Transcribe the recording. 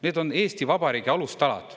Need on Eesti Vabariigi alustalad.